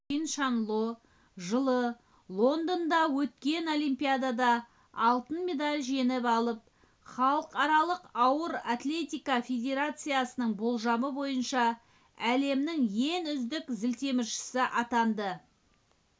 чиншанло жылы лонднда өткен олимпиадада алтын медаль жеңіп алып халықаралық ауыр атлетика федерациясының болжамы бойынша әлемнің ең үздік зілтеміршісі атанды